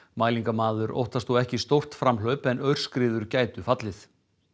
mælingamaður óttast ekki stórt framhlaup en aurskriður gætu fallið